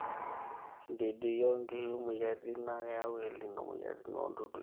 ididui o nkishu/moyiaritin naa keyau elnino moyiaritin o dudui